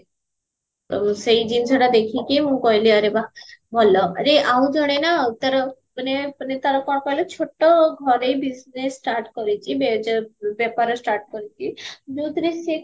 ତ ସେଇ ଜିନିଷଟା ଦେଖିକି ମୁଁ କହିଲି ଆରେ ବା ଭଲ ଆରେ ଆଉ ଜଣେ ନା ତାର ମାନେ ମାନେ ତାର କଣ କହିଲା ଛୋଟ ଘରେ business start କରିଚି ବେପାର start କରିଚି ଯୋଊଥିରେ ସେ